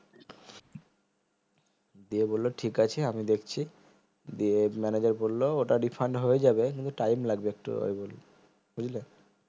দিয়ে বললো ঠিকাছে আমি দেখছি দিয়ে manager বললো ওটা refund হয়ে যাবে কিন্তু time লাগবে একটু বুঝলে